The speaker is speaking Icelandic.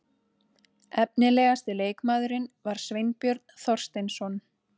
Efnilegasti leikmaðurinn var Sveinbjörn Þorsteinsson.